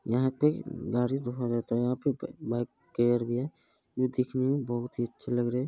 यहाँ पे गाड़ी धोया जाता है यहाँ पर पे बाइ केयर भी है जो देखने में बहुत ही अच्छे लग रहें हैं।